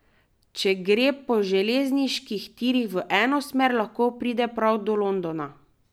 Če gre po železniških tirih v eno smer, lahko pride prav do Londona.